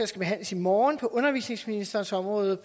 skal behandles i morgen på undervisningsministerens område